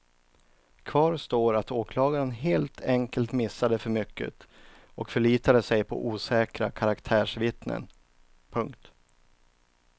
Kvar står att åklagaren helt enkelt missade för mycket och förlitade sig på osäkra karaktärsvittnen. punkt